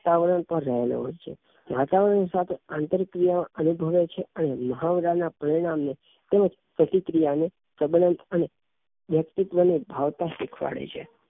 વાતાવરણ પર રહેલો હોઈ છે વાતાવરણ સાથે આંતરિક ક્રિયા અનુભવે છે અને મહાવરા પરિણામ નેં તેમજ પ્રતિક્રિયા ને સબંધ અને વ્યક્તિત્વ ની ભાવતા શીખવાડે છે